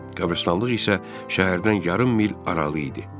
Qəbristanlıq isə şəhərdən yarım mil aralı idi.